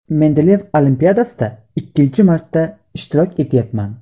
Mendeleev olimpiadasida ikkinchi marta ishtirok etayapman.